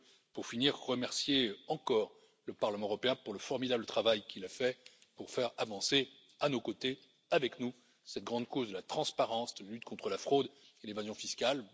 Pour finir, je veux remercier encore le Parlement européen pour le formidable travail qu'il a fait pour faire avancer à nos côtés, avec nous, cette grande cause de la transparence, de lutte contre la fraude et l'évasion fiscale.